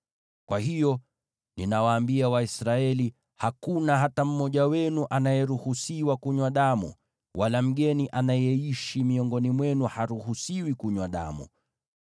Kwa hiyo, ninawaambia Waisraeli, “Hakuna hata mmoja wenu anayeruhusiwa kunywa damu, wala mgeni anayeishi miongoni mwenu haruhusiwi kunywa damu.”